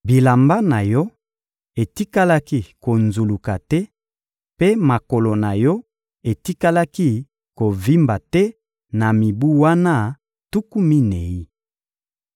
Bilamba na yo etikalaki konzuluka te mpe makolo na yo etikalaki kovimba te na mibu wana tuku minei.